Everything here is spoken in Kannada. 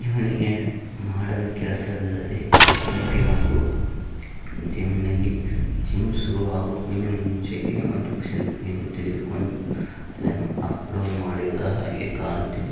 ಇವನಿಗೆ ಮಾಡಲು ಕೆಲಸವಿಲ್ಲವಿದೆ ಜಿಮ್ ಗೆ ಬಂದು ಜಿಮ್ ನಲ್ಲಿ ಜಿಮ್ನ ಶುರು ಆಗೋಕಿನ್ ಮುಂಚೆಒಂದು ಸೆಲ್ಫಿ ತೆಗಿದುಕೊಂಡು ಅಪ್ಲೋಡ್ ಮಡಿದ ಹಾಗೆ ಕಾಣುತ್ತಿದೆ .